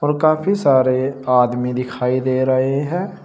और काफी सारे आदमी दिखाई दे रहे हैं।